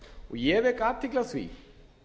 ég vek athygli á því